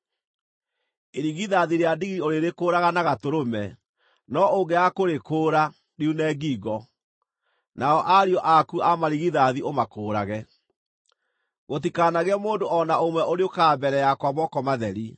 Irigithathi rĩa ndigiri ũrĩrĩkũũraga na gatũrũme, no ũngĩaga kũrĩkũũra, riune ngingo. Nao ariũ aku a marigithathi ũmakũũrage. “Gũtikanagĩe mũndũ o na ũmwe ũrĩũkaga mbere yakwa moko matheri.